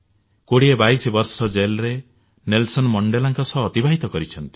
କୋଡିଏବାଇଶି ବର୍ଷ ଜେଲରେ ନେଲସଲ ମଣ୍ଡେଲାଙ୍କ ସହ ଅତିବାହିତ କରିଛନ୍ତି